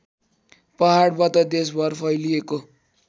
पहाडबाट देशभर फैलिएको